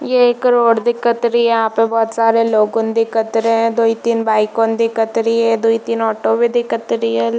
ये एक रोड दिखत रहे है यहाँ पे बहुत सारे लोगन दिखत रहे है दोई तीन बाइकएन दिकत रही है दोई तीन ऑटो भी दिखत रहे है।